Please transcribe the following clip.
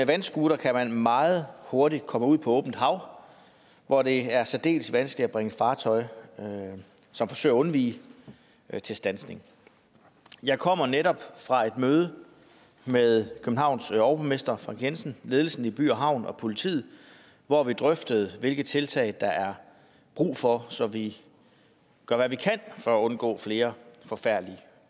vandscooter kan man meget hurtigt komme ud på åbent hav hvor det er særdeles vanskeligt at bringe et fartøj som forsøger at undvige til standsning jeg kommer netop fra et møde med københavns overborgmester frank jensen ledelsen i by havn og politiet hvor vi drøftede hvilke tiltag der er brug for så vi gør hvad vi kan for at undgå flere forfærdelige